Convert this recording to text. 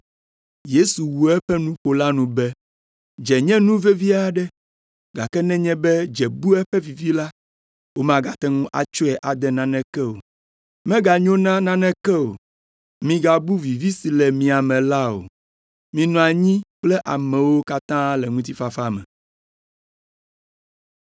Yesu wu eƒe nuƒo la nu be, “Dze nye nu vevi aɖe, gake nenye be dze bu eƒe vivi la, womagate ŋu atsɔe ade naneke o; meganyo na naneke o, migabu vivi si le mia me la o! Minɔ anyi kple amewo katã le ŋutifafa me.”